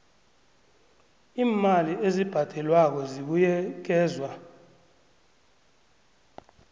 iimali ezibhadelwako zibuyekezwa